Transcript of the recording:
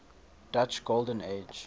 dutch golden age